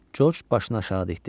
Corc başını aşağı dikdi.